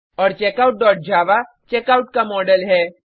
और checkoutजावा चेकआउट का मॉडल है